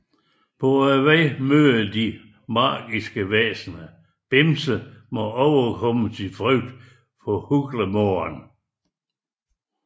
På vejen møder de magiske væsener og Bimse må overkomme sin frygt for Hulgemoren